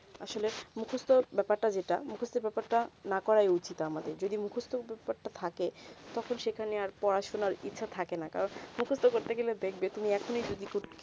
আসলে মুখস্ত ব্যাপার তা যেটা মুখস্ত ব্যাপার তা না করা ই উচিত আমাদের যদি মুখস্ত ব্যাপার তা থাকে তখন সেখানে আর পড়াশোনা ইচ্ছা থাকে না কারণ মুখস্ত করতে গেলে দেখবে তুমি এখনি যদি